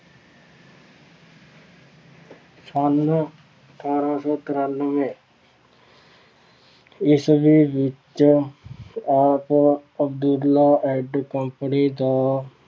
ਸੰਨ ਅਠਾਰਾਂ ਸੌ ਤਰਾਨਵੇਂ ਈਸਵੀ ਵਿੱਚ ਆਪ ਅਬਦੁਲਾ and company ਦਾ